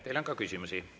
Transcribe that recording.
Teile on ka küsimusi.